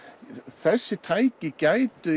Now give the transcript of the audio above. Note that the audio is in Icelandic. þessi tæki gætu